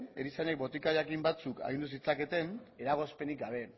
erizainek botika jakin batzuk agindu zitzaketen eragozpenik gabe